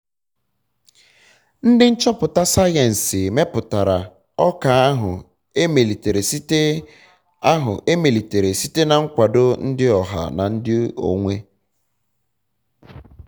ndị nchọpụta sayensị meputara ọka ahụ emelitere site ahụ emelitere site na nkwado ndi oha na ndị onwe